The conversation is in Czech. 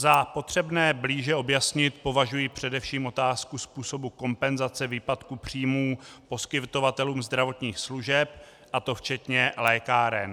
Za potřebné blíže objasnit považuji především otázku způsobu kompenzace výpadku příjmů poskytovatelům zdravotních služeb, a to včetně lékáren.